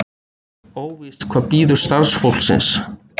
Óvíst hvað bíður starfsfólksins